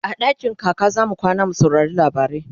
a dakin kaka zamu kwana mu saurari labarai